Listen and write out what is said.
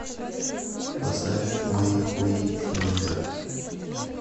поставь мои хуи ленинград